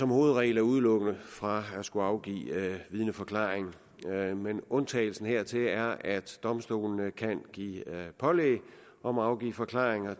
hovedregel er udelukket fra at skulle afgive vidneforklaring men undtagelsen hertil er at domstolene kan give pålæg om at afgive forklaring og